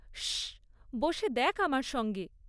শশ্‌শ্‌! বসে দেখ্‌ আমার সঙ্গে।